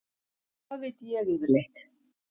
Hvað veit ég yfirleitt?